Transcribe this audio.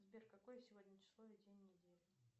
сбер какое сегодня число и день недели